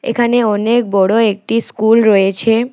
এখানে অনেক বড় একটি স্কুল রয়েছে।